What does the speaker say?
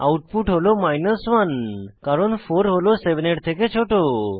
output হল 1 কারণ 4 হল 7 এর থেকে ছোট